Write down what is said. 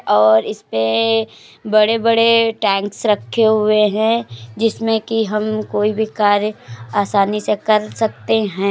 और इसपे बड़े-बड़े टैंक्स रक्खे हुए हैं जिसमें कि हम कोई भी कार्य आसानी से कर सकते हैं।